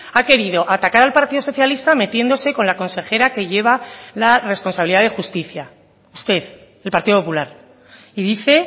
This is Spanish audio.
ha querido atacar al partido socialista metiéndose con la consejera que lleva la responsabilidad de justicia usted el partido popular y dice